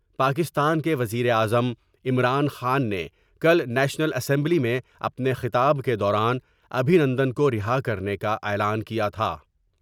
پاکستان کے وزیراعظم عمران خان نے کل نیشنل اسمبلی میں اپنے خطاب کے دوران ابھینندن کو رہا کرنے کا اعلان کیا تھا ۔